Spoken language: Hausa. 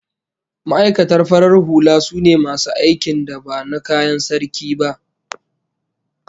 Ma'aikata farar hula sune masu aikin da ba na kayan Sarki ba